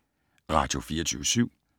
Radio24syv